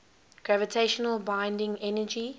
gravitational binding energy